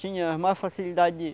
Tinha mais facilidade de